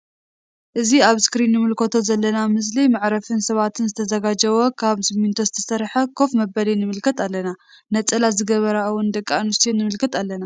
እዚ አብ አስክሪን እንምልከቶ ዘለና ምስሊ መዕረፊ ን ሰባት ዝተዘጋጀወ ካብ ሲምንቶ ዝተሰርሐ ከፍ መበሊ ንምልከት አለና::ነፀላ ዝገበራ እውን ደቂ አንስትዮ ንምልከት አለና::